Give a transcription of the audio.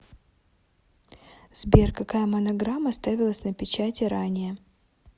сбер какая монограмма ставилась на печати ранее